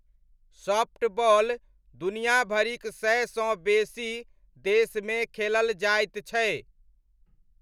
Softball दुनियाभरिक सयसँ बेसी देशमे खेलल जाइत छै।